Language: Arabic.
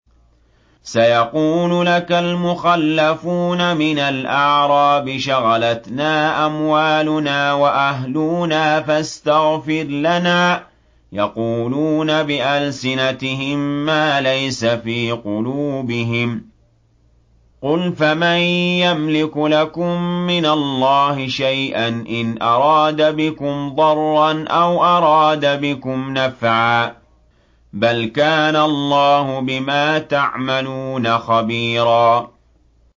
سَيَقُولُ لَكَ الْمُخَلَّفُونَ مِنَ الْأَعْرَابِ شَغَلَتْنَا أَمْوَالُنَا وَأَهْلُونَا فَاسْتَغْفِرْ لَنَا ۚ يَقُولُونَ بِأَلْسِنَتِهِم مَّا لَيْسَ فِي قُلُوبِهِمْ ۚ قُلْ فَمَن يَمْلِكُ لَكُم مِّنَ اللَّهِ شَيْئًا إِنْ أَرَادَ بِكُمْ ضَرًّا أَوْ أَرَادَ بِكُمْ نَفْعًا ۚ بَلْ كَانَ اللَّهُ بِمَا تَعْمَلُونَ خَبِيرًا